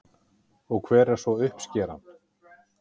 Og hver er svo uppskeran?